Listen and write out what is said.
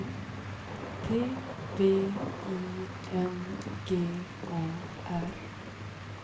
T V I N G A R